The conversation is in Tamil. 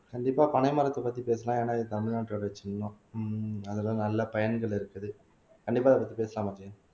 கண்டிப்பா பனை மரத்தைப் பத்தி பேசலாம் ஏன்னா இது தமிழ்நாட்டோட சின்னம் ஹம் அதெல்லாம் நல்ல பயன்கள் இருக்குது கண்டிப்பா அதைப் பத்தி பேசலாமா அஜயன்